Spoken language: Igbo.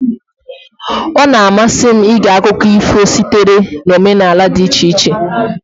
Ọ na-amasị m ige akụkọ ifo sitere na omenala dị iche iche.